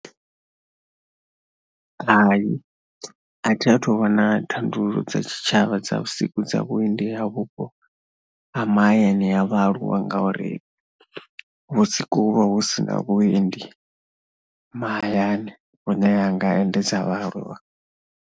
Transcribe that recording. Hai a thi a thu u vhona thandululo dza tshitshavha dza vhusiku dza vhuendi ha vhupo ha mahayani ha vhaaluwa ngauri vhusiku hu vha hu si na vhuendi mahayani hune hu nga endedza vhaaluwa.